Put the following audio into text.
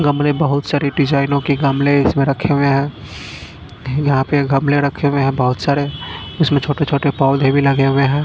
गमले बहोत सारी डिजाइनों के गमले इसमें रखे हुए हैं यहां पे गमले रखे हुए हैं बहुत सारे जिसमें छोटे छोटे पौधे भी लगे हुए हैं।